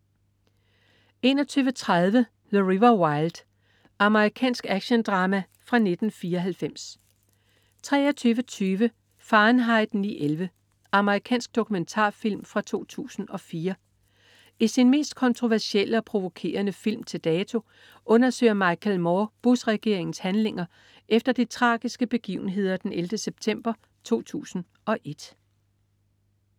21.30 The River Wild. Amerikansk actiondrama fra 1994 23.20 Fahrenheit 9/11. Amerikansk dokumentarfilm fra 2004. I sin mest kontroversielle og provokerende film til dato undersøger Michael Moore Bush-regeringens handlinger efter de tragiske begivenheder den 11. september 2001